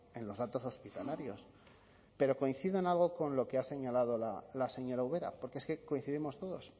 en los datos hospitalarios pero coincido en algo con lo que ha señalado la señora ubera porque es que coincidimos todos